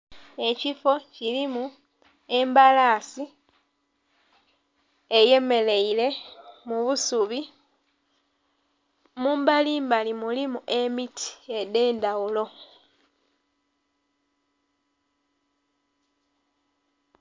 Ekifo kirimu embalasi eyemereire mubusubi mumbali mbali mulimu emiti edhe ndhaghulo.